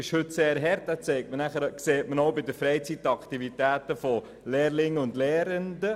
Der Übertritt in die Stufe Sek II ist heute sehr hart.